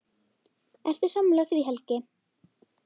Ertu sammála því Helgi?